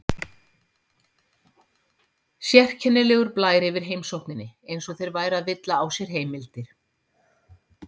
legur blær yfir heimsókninni, eins og þeir væru að villa á sér heimildir.